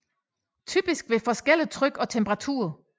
Typisk ved forskellig tryk og temperaturer